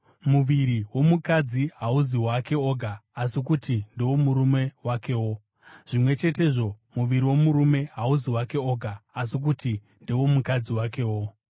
Muviri womukadzi hauzi wake oga asi kuti ndewomurume wakewo. Zvimwe chetezvo, muviri womurume hauzi wake oga asi kuti ndewomukadzi wakewo.